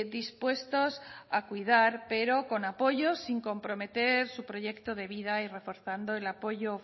dispuestos a cuidar pero con apoyo sin comprometer su proyecto de vida y reforzando el apoyo